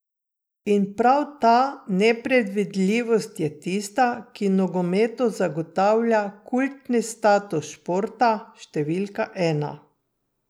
In prav ta nepredvidljivost je tista, ki nogometu zagotavlja kultni status športa številka ena.